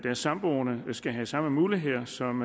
er samboende skal have de samme muligheder som